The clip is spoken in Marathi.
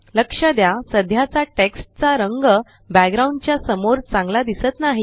लक्षा द्या सध्याचा टेक्स्ट चा रंग बॅकग्राउंड च्या समोर चांगला दिसत नाही